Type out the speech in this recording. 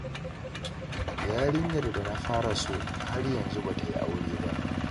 Yarinyar da na fara so, har yanzu ba ta yi aure ba.